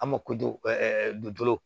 An ma dulon